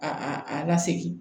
A a a lasegin